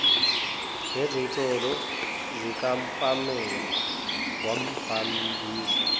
ngezinsolo zikapamela wambambisa